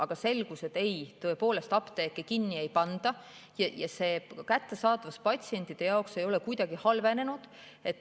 Aga selgus, et ei, apteeke kinni ei panda ja kättesaadavus patsientide jaoks ei ole kuidagi halvenenud.